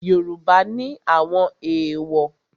Yoruba ni àwọn èwò.